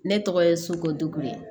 Ne tɔgɔ ye suku de ye